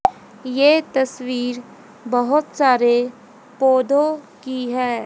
ये तस्वीर बहोत सारे पौधों की है।